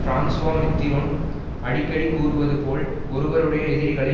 Francois Mitterrand அடிக்கடி கூறுவது போல் ஒருவருடைய எதிரிகளை